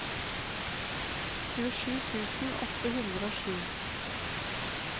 tjuesju tusen åtte hundre og sju